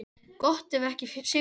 Gott ef ekki sigurmarkið.